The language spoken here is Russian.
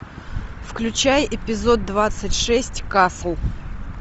включай эпизод двадцать шесть касл